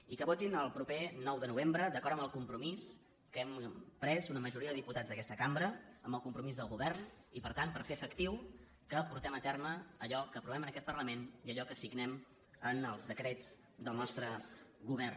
i que votin el proper nou de novembre d’acord amb el compromís que hem pres una majoria de diputats d’aquesta cambra amb el compromís del govern i per tant per fer efectiu que portem a terme allò que aprovem en aquest parlament i allò que signem en els decrets del nostre govern